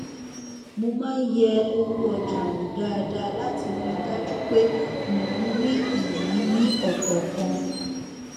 mo má n yẹ owó ọjà wò dáadáa láti rí i dájú pé mò n rí iyì ní ọkọọkan